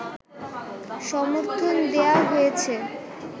সমর্থন দেয়া হয়েছে